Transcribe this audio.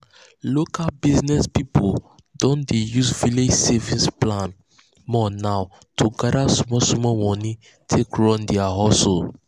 local business people don dey use village savings plan more now to gather small small money take run their hustle.